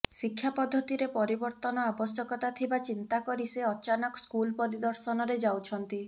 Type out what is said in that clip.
ଶିକ୍ଷା ପଦ୍ଧତିରେ ପରିବର୍ତ୍ତନ ଆବଶ୍ୟକତା ଥିବା ଚିନ୍ତା କରି ସେ ଅଚାନକ ସ୍କୁଲ ପରିଦର୍ଶନରେ ଯାଉଛନ୍ତି